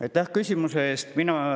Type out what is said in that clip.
Aitäh küsimuse eest!